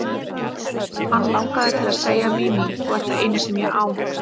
Hann langaði til að segja: Mimi, þú ert það eina sem ég á.